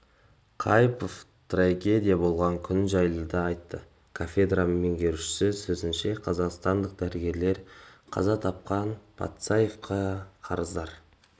қайыпова трагедия болған күн жайлы да айтты кафедра меңгерушісінің сөзінше қазақстандық дәрігерлер қаза тапқан патсаевқа қарыздар